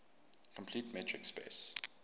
complete metric space